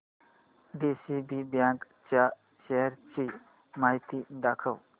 DCB bank च्या shares ची माहिती दाखव